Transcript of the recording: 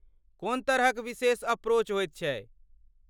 कोन तरहक विशेष अप्रोच होइत छै?